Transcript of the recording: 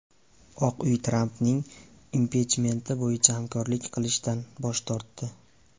Oq uy Trampning impichmenti bo‘yicha hamkorlik qilishdan bosh tortdi.